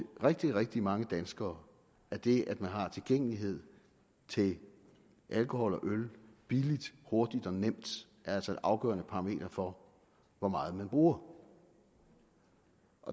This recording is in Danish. rigtig rigtig mange danskere er det at man har tilgængelighed til alkohol og øl billigt hurtigt og nemt altså et afgørende parameter for hvor meget man bruger